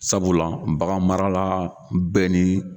Sabula baganmarala bɛɛ ni